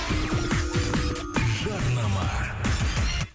жарнама